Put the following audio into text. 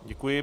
Děkuji.